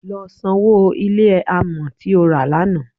Lọ sanwó ilé amọ̀ tí o rà lánàá.